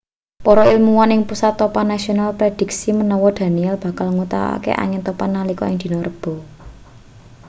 para ilmuwan ing pusat topan nasional prédhiksi menawa danielle bakal nguwatake angin topan nalika dina rebo